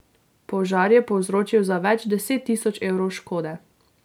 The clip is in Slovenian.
Požar je povzročil za več deset tisoč evrov škode.